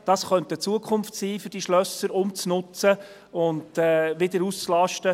Das könnte eine Zukunft sein, um diese Schlösser umzunutzen und wieder auszulasten.